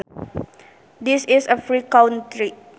This is a free country